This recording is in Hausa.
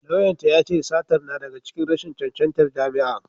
Lauyan ta ya ce satar na daga cikin rashin cancantar jami’an.